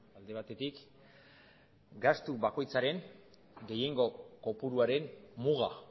alde batetik gastu bakoitzaren gehiengo kopuruaren muga